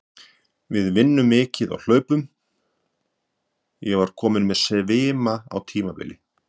Við vinnum mikið og hlaupum, ég var kominn með svima á tímabili.